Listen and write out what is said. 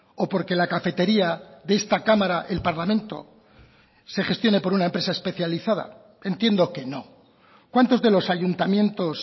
o porque la cafetería de esta cámara el parlamento se gestione por una empresa especializada entiendo que no cuántos de los ayuntamientos